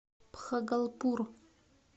бхагалпур